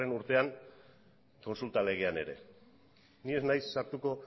urtean kontsulta legean ere ni ez naiz sartuko